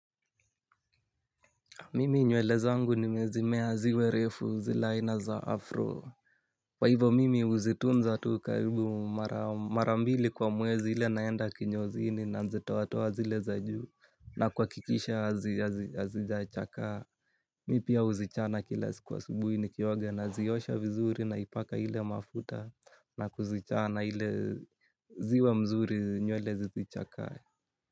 Mimi nywele zangu nimezimea ziwe refu zi le aina za afro. Kwa hivo mimi uzitunza tu karibu mara mbili kwa mwezi ile naenda kinyozini na nzitoa toa zile za juu na kuha kikisha hazijachakaa. Mipia huzichana kila siku asubuhi ni kioga na ziosha vizuri na ipaka ile mafuta na kuzichana ile ziwe mzuri nywele zizichakae.